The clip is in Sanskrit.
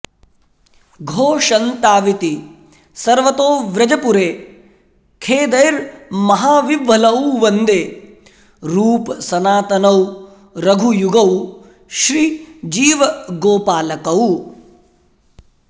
घोषन्ताविति सर्वतो व्रजपुरे खेदैर्महाविह्वलौ वन्दे रूपसनातनौ रघुयुगौ श्रीजीवगोपालकौ